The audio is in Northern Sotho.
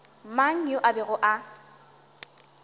mang yo a bego a